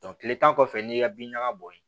tile tan kɔfɛ n'i y'i ka bin ɲaga bɔ yen